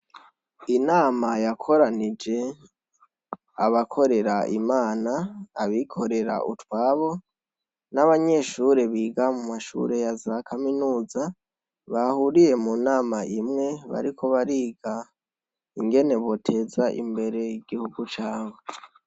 Inama yakoranije abakorera imana abikorera utwabo nabanyeshure biga muza kaminuza bahuriye munama imwe bariko bariga ingene boteza imbere igihugu cabo